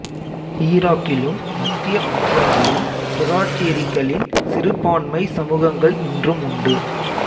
ஈராக்கிலும் மத்திய ஆசியாவிலும் சொராட்டிரிகளின் சிறுபான்மைச் சமூகங்கள் இன்றும் உண்டு